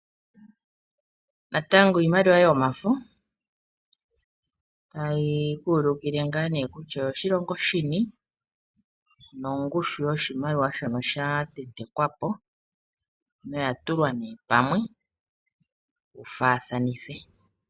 Natango iimaliwa yomafo tayi ku ulukile kutya oyoshilongo shini nongushu yoshimaliwa shono sha tentekwa po, noya tulwa nee pamwe tu faathanithe.